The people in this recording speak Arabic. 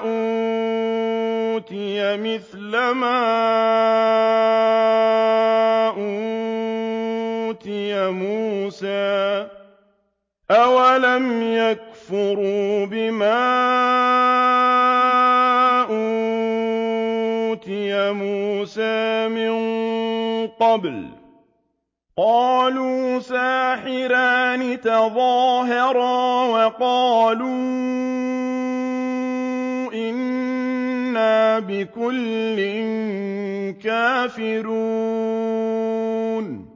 أُوتِيَ مِثْلَ مَا أُوتِيَ مُوسَىٰ ۚ أَوَلَمْ يَكْفُرُوا بِمَا أُوتِيَ مُوسَىٰ مِن قَبْلُ ۖ قَالُوا سِحْرَانِ تَظَاهَرَا وَقَالُوا إِنَّا بِكُلٍّ كَافِرُونَ